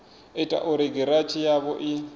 ita uri giranthi yavho i